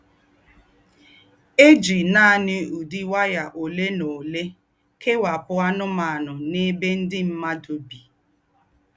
È jí nání údí waya ólé ná ólé kèwápù ànùmànù n’èbé ndí́ m̀mùàdù bí.